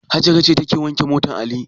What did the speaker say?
Hajara ce take wanke motar Ali.